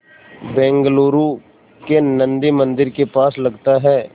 बेंगलूरू के नन्दी मंदिर के पास लगता है